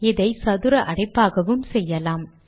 இதை சதுர அடைப்பாகவும் செய்யலாம்